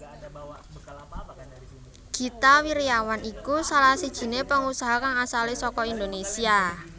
Gita Wirjawan iku salah sijiné pengusaha kang asalé saka Indonésia